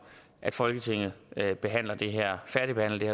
at folketinget færdigbehandler det her